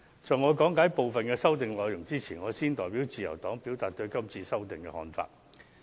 在講解部分修訂內容前，我先行代表自由黨表達對今次修訂的看法。